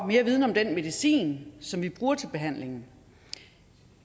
mere viden om den medicin som vi bruger til behandlingen